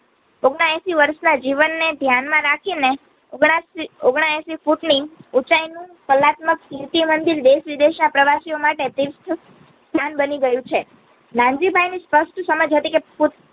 ઓગણએસી વરસના જીવનને ધ્યાનમાં રાખીને ઓગણએસી ઓગણએસી ફૂટની ઉચાઈનું કલ્લાકમાં કીર્તિમંદિર દેશવિદેશના પ્રવસિયોમાટે સ્થાન નાનજીભાઈની સ્પષ્ટ સમજ હતી કે